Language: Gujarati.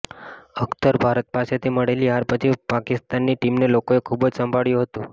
અખ્તર ભારત પાસેથી મળેલી હાર પછી પાકિસ્તાનની ટીમને લોકોએ ખૂબ જ સંભળાવ્યું હતુ